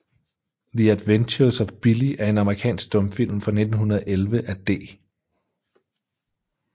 The Adventures of Billy er en amerikansk stumfilm fra 1911 af D